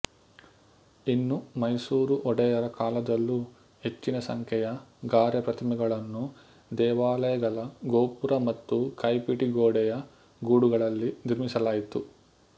ಇನ್ನು ಮೈಸೂರು ಒಡೆಯರ ಕಾಲದಲ್ಲೂ ಹೆಚ್ಚಿನ ಸಂಖ್ಯೆಯ ಗಾರೆ ಪ್ರತಿಮೆಗಳನ್ನು ದೇವಾಲಯಗಳ ಗೋಪುರ ಮತ್ತು ಕೈಪಿಡಿಗೋಡೆಯ ಗೂಡುಗಳಲ್ಲಿ ನಿರ್ಮಿಸಲಾಯಿತು